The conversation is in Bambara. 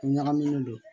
Ɲagaminen don